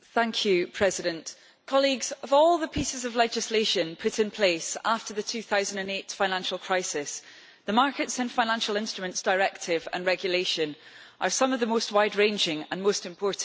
Mr President, of all the pieces of legislation put in place after the 2008 financial crisis, the Markets and Financial Instruments Directive and regulation are some of the most wide ranging and most important.